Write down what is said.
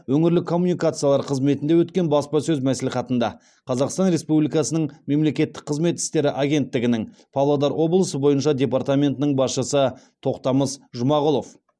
өңірлік коммуникациялар қызметінде өткен баспасөз мәслихатында қазақстан республикасының мемлекеттік қызмет істері агенттігінің павлодар облысы бойынша департаментінің басшысы тоқтамыс жұмағұлов